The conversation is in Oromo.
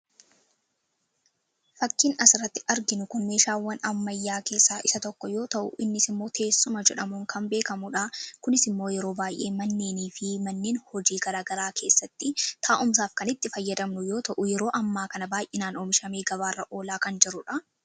Fakkiin asirratti arginu kun meeshaawwan ammayyaa keessaa isa tokko yoo ta'u, innis immoo teessuma jedhamuun kan beekamudha. Kunis immoo yeroo baay'ee manneen fi manneen hojii keessatti taa'umsaaf kan itti fayyadamnu yeroo ammaa kana oomishamee gabaarra oolaa kan jirudha.